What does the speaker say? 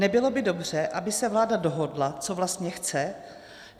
Nebylo by dobře, aby se vláda dohodla, co vlastně chce?